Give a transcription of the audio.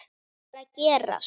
Þetta varð að gerast.